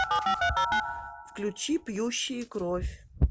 включи пьющие кровь